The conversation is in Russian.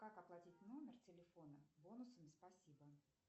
как оплатить номер телефона бонусами спасибо